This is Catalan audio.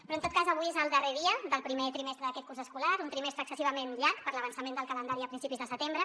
però en tot cas avui és el darrer dia del primer trimestre d’aquest curs escolar un trimestre excessivament llarg per l’avançament del calendari a principis de setembre